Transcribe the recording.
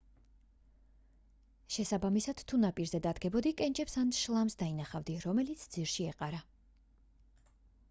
შესაბამისად თუ ნაპირზე დადგებოდი კენჭებს ან შლამს დანახავდი რომელიც ძირში ეყარა